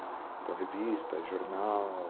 Então, revista, jornal.